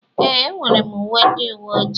Ee, enwere m uwe ndị uwe ojii.